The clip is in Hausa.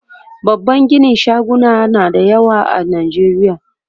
babban ginin shaguna na da yawa a nijeriya